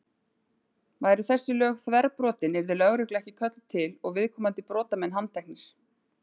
Væru þessi lög þverbrotin yrði lögregla ekki kölluð til og viðkomandi brotamenn handteknir.